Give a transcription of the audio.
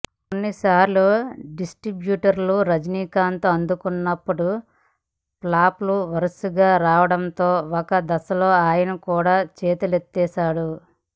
కొన్నిసార్లు డిస్ట్రిబ్యూటర్లను రజనీకాంత్ ఆదుకున్నప్పటికీ ఫ్లాపులు వరుసగా రావడంతో ఒక దశలో ఆయన కూడా చేతులెత్తేశాడు